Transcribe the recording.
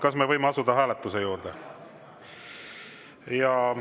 Kas me võime asuda hääletuse juurde?